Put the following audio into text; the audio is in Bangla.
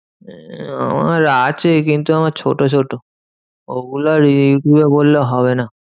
উম আমার আছে কিন্তু আমার ছোট ছোট। ওগুলো করলে হবে না।